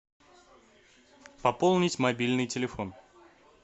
пополнить мобильный телефон